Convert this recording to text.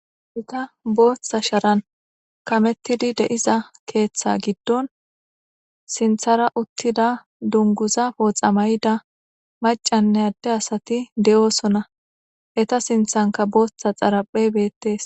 Boththa sharan kamettidi de'iza keththa giddon sinththara uttida dungguza booththa may'ida macanne ade asatti de'ossona.etta sinttankka booththa dharaphe bettes.